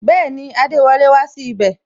Bẹẹni, adewole wá sí ibè